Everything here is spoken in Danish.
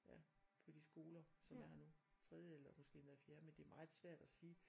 Ja på de skoler som er her nu tredje eller måske endda fjerde men det er meget svært at sige